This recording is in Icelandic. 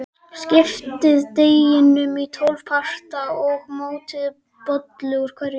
Skiptið deiginu í tólf parta og mótið bollu úr hverjum.